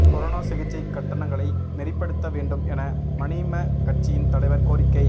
corona சிகிச்சைக் கட்டணங்களை நெறிப்படுத்த வேண்டும் என மநீம கட்சியின் தலைவர் கோரிக்கை